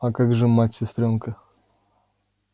а как же мать сестрёнка